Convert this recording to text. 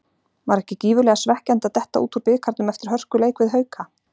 Var ekki gífurlega svekkjandi að detta út úr bikarnum eftir hörkuleik við Hauka?